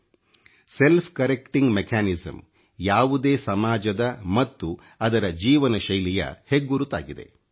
Seಟಜಿ ಅoಡಿಡಿeಛಿಣiಟಿg ಒeಛಿhಚಿಟಿism ಯಾವುದೇ ಸಮಾಜದ ಮತ್ತು ಅದರ ಜೀವನಶೈಲಿಯ ಹೆಗ್ಗುರುತಾಗಿದೆ